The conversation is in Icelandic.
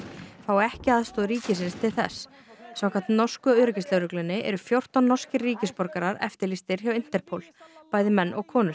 fái ekki aðstoð ríkisins til þess samkvæmt norsku öryggislögreglunni eru fjórtán norskir eftirlýstir hjá Interpol bæði menn og konur